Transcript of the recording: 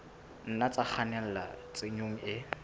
nna tsa kgannela tshenyong e